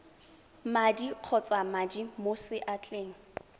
madi kgotsa madi mo seatleng